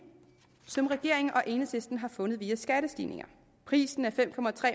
som regeringen og enhedslisten har fundet via skattestigninger prisen er fem